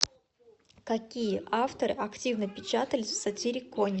какие авторы активно печатались в сатириконе